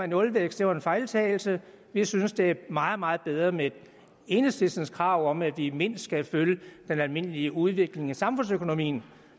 nulvækst var en fejltagelse vi synes det er meget meget bedre med enhedslistens krav om at vi mindst skal følge den almindelige udvikling i samfundsøkonomien